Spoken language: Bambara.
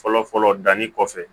Fɔlɔ fɔlɔ danni kɔfɛ